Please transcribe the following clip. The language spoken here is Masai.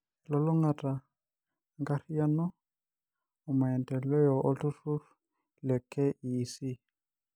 Elulung'ata enkariyano, omaendeleo olturrur le KEC.